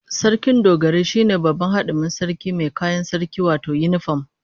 Sarkin Dogarai shine babban hadimin sarki mai kayan sarki wato yinifam